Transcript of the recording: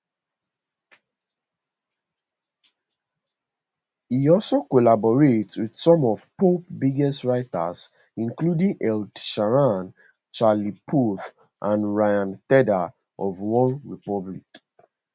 e also collaborate with some of pop biggest writers including ed sheeran charlie puth and ryan tedder of onerepublic